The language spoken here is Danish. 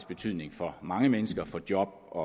betydning for mange mennesker for job